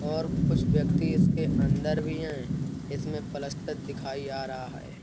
और कुछ व्यक्ति इसके अंदर भी हैं। इसमें पलस्तर दिखाई आ रहा है।